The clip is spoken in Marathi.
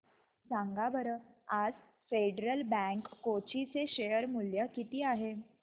सांगा बरं आज फेडरल बँक कोची चे शेअर चे मूल्य किती आहे